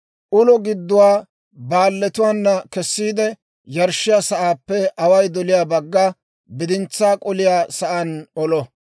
ulo gidduwaa baalletuwaana kessiide, yarshshiyaa sa'aappe away doliyaa baggana, bidintsaa k'oliyaa sa'aan olo.